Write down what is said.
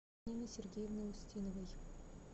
нины сергеевны устиновой